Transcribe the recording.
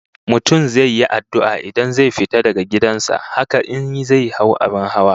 Mutum zai yi addu'a idan zai fita daga gidan sa, haka in zai hau abin hawa